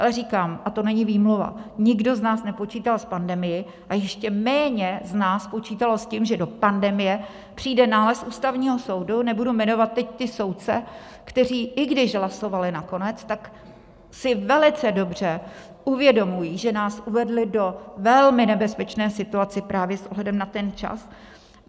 Ale říkám, a to není výmluva, nikdo z nás nepočítal s pandemií a ještě méně z nás počítalo s tím, že do pandemie přijde nález Ústavního soudu, nebudu jmenovat teď ty soudce, kteří i když hlasovali nakonec, tak si velice dobře uvědomují, že nás uvedli do velmi nebezpečné situace právě s ohledem na ten čas.